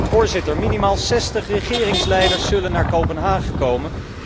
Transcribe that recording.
Voorzitter, minimaal 60 regeringsleiders zullen naar Kopenhagen komen.